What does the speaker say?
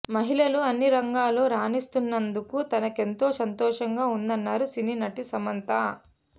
మహిళలు అన్ని రంగాల్లో రాణిస్తున్నందుకు తనకెంతో సంతోషంగా ఉందన్నారు సినీ నటి సమంత